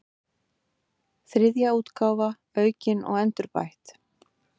Þriðja útgáfa, aukin og endurbætt.